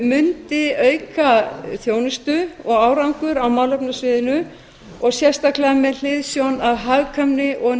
mundi auka þjónustu og árangur á málefnasviðinu og sérstaklega með hliðsjón af hagkvæmni og